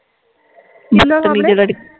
ਕਿਹਦੇ ਸਾਮਣੇ